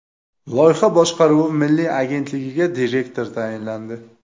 Loyiha boshqaruvi milliy agentligiga direktor tayinlandi.